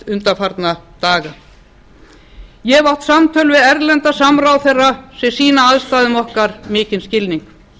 undanfarna daga ég hef átt samtöl við erlenda samráðherra sem sýna aðstæðum okkar mikinn skilning